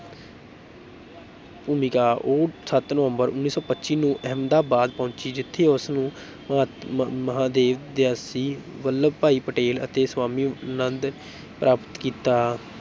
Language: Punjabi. ਭੂਮਿਕਾ, ਉਹ ਸੱਤ ਨਵੰਬਰ ਉੱਨੀ ਸੌ ਪੱਚੀ ਨੂੰ ਅਹਿਮਦਾਬਾਦ ਪਹੁੰਚੀ ਜਿੱਥੇ ਉਸ ਨੂੰ ਮਹਾਂਤਮ ਮ ਮਹਾਦੇਵ ਦੇਸਾਈ, ਵਲੱਭਭਾਈ ਪਟੇਲ ਅਤੇ ਸਵਾਮੀ ਆਨੰਦ ਪ੍ਰਾਪਤ ਕੀਤਾ।